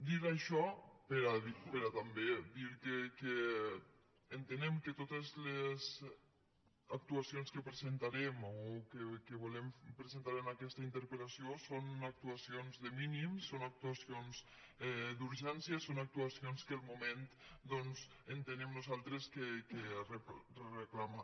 dir això però també dir que entenem que totes les actuacions que presentarem o que volem presentar en aquesta interpel·tuacions de mínims són actuacions d’urgència són actuacions que el moment doncs entenem nosaltres que reclama